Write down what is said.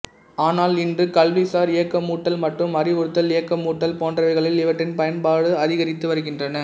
ஆனால் இன்று கல்விசார் இயக்கமூட்டல் மற்றும் அறிவுறுத்தல் இயக்கமூட்டல் போன்றவைகளில் இவற்றின் பயன்பாடு அதிகரித்து வருகின்றன